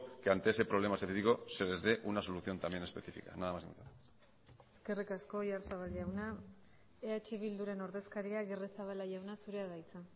que ante ese problema específico se les dé una solución también específica nada más y muchas gracias eskerrik asko oyarzabal jauna eh bilduren ordezkaria agirrezabala jauna zurea da hitza